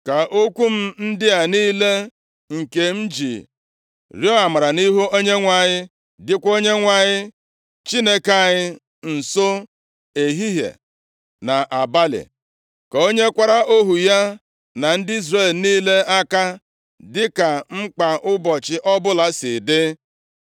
Ka okwu m ndị a niile, nke m ji rịọ amara nʼihu Onyenwe anyị dịkwa Onyenwe anyị Chineke anyị nso ehihie na abalị. Ka o nyekwara ohu ya na ndị Izrel niile aka, dịka mkpa ụbọchị ọbụla si dị.